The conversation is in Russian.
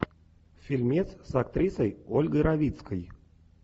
фильмец с актрисой ольгой равицкой